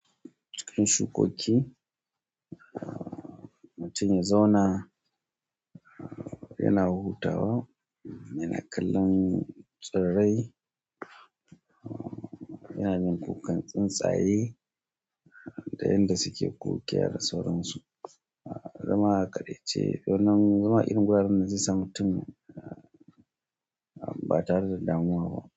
Shukoki, mutum ya zauna yana hutawa yana kallon tsirrai, yana jin kukan tsuntsaye da yanda suke kokiya da sauransu. Zama a kaɗaice, wannan zama irin guraren da zai sa mutum ba tare da damuwa ba.